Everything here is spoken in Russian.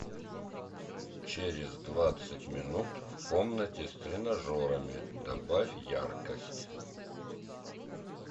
через двадцать минут в комнате с тренажерами добавь яркость